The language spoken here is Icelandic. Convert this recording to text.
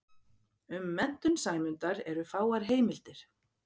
Um menntun Sæmundar eru fáar heimildir.